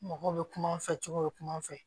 Mɔgɔw bɛ kuma an fɛ cogo bɛ kum'an fɛ